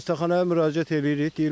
Xəstəxanaya müraciət eləyirik.